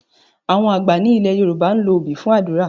Àwọn àgbà ní ilẹ̀ Yorùbá ń lo obì fún àdúrà.